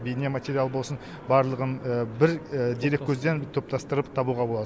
бейнематериал болсын барлығын бір дереккөзден топтастырып табуға болады